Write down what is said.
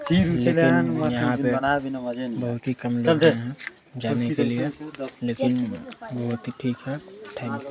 लेकिन यहाँ पे बहुत ही है जाने के लिए लेकिन बहुत ही ठीक है थ --।